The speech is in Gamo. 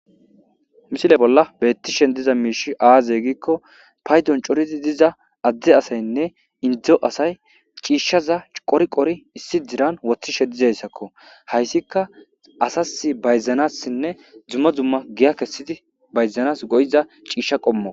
misile bolla bettishen diza miishi aaze giikko paydon corizi diza adde asaynne indzdzo asay ciishshaza qori qori issi diran woththishe dizayssakko hayssika asas bayzanassinne dzumma dzumma giya kessidi bayzanas goyiza ciishsha qommo